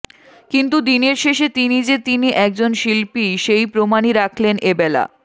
কিন্তু দিনের শেষে তিনি যে তিনি একজন শিল্পীই সেই প্রমাণই রাখলেন এবেলা